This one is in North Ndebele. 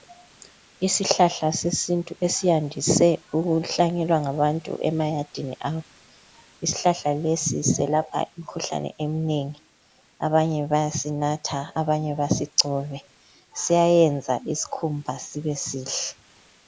Isihlahla sesintu esiyandise ukuhlanyelwa ngabantu emayadini abo. Isihlahla lesi selapha imkhuhlane eminengi .Abanye bayasinatha, abanye basigcobe .Siyayenza isikhumba sibe sihle .